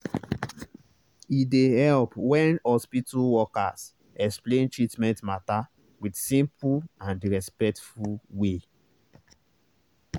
e dey help when hospital workers explain treatment matter with simple and respectful way.